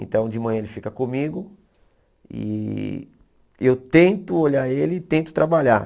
Então, de manhã ele fica comigo e eu tento olhar ele e tento trabalhar.